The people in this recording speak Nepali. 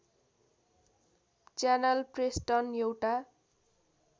च्यानल प्रेस्टन एउटा